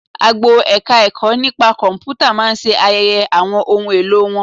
Agbo Ẹ̀ka-ẹ̀kọ́ nipa Kọ̀m̀pútà máa ṣe ayẹyẹ àwọn ohun èlò wa